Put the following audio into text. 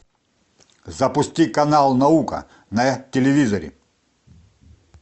запусти канал наука на телевизоре